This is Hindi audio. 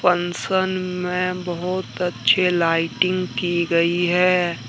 फंसन में बहुत अच्छे लाइटिंग की गई है।